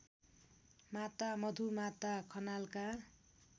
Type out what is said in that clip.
Mata Madhumata खनालका